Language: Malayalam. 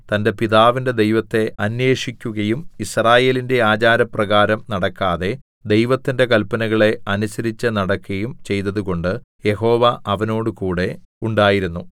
തന്റെ പിതാവിന്റെ ദൈവത്തെ അന്വേഷിക്കുകയും യിസ്രായേലിന്റെ ആചാരപ്രകാരം നടക്കാതെ ദൈവത്തിന്റെ കല്പനകളെ അനുസരിച്ചുനടക്കയും ചെയ്തതുകൊണ്ട് യഹോവ അവനോടുകൂടെ ഉണ്ടായിരുന്നു